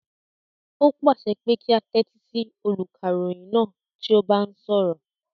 O pàṣẹ kí á tẹ́tí sí olùkàròyìn náà tí ó bá ń sọ̀rọ̀